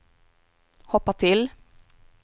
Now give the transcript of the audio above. hoppa till